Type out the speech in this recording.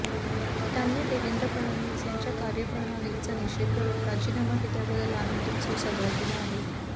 त्यांनी देवेंद्र फडणवीस यांच्या कार्यप्रणालीचा निषेध करत राजीनामा दिल्याबद्दल आनंदोत्सव साजरा केला आहे